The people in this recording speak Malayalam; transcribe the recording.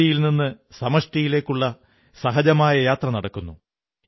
വ്യക്തിയിൽ നിന്നു സമഷ്ടിയിലേക്കുള്ള സഹജമായ യാത്ര നടക്കുന്നു